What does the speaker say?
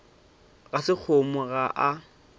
ga se kgomo ga a